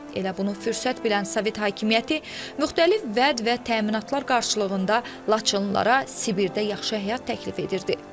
Elə bunu fürsət bilən Sovet hakimiyyəti müxtəlif vəd və təminatlar qarşılığında Laçınlılara Sibirdə yaxşı həyat təklif edirdi.